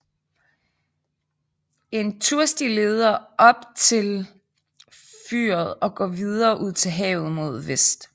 En tursti leder op til fyret og går videre ud til havet mod vest